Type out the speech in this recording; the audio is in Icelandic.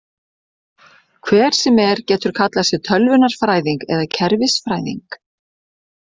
Hver sem er getur kallað sig tölvunarfræðing eða kerfisfræðing.